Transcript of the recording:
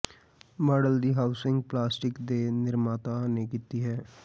model ਦੀ housing plastic ਦੇ ਨਿਰਮਾਤਾ ਨੇ ਕੀਤੀ ਹੈ